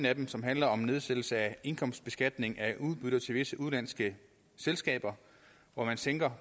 af dem som handler om nedsættelse af indkomstbeskatning af udbytter til visse udenlandske selskaber hvor man sænker